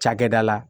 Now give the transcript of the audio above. Cakɛda la